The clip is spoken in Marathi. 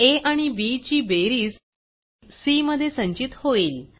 आ आणि बी ची बेरीज cमध्ये संचित होईल